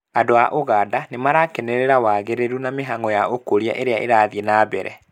Andũ a ũganda nĩmarakenerera wagĩrĩru na mĩhang'o ya ũkũria ĩrĩa irathiĩ na mbere